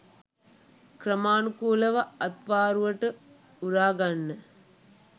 ක්‍රමානුකූලව අත්වාරුවට උරා ගන්න